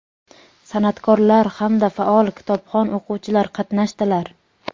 san’atkorlar hamda faol kitobxon o‘quvchilar qatnashdilar.